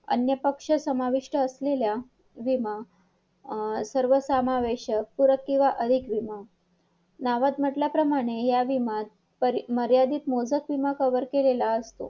अन्नपक्ष समाविष्ट असलेल्या विमा सर्वसामावेशक पूरक किंवा अनेक विमा नावात म्हटल्याप्रमाणे या विमात मर्यादित मोजक किंवा cover केलेला असतो